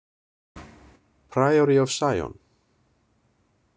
Priory of Sion.